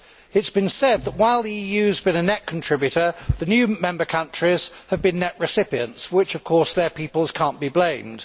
It has been said that while the EU has been a net contributor, the new member countries have been net recipients, for which, of course, their peoples cannot be blamed.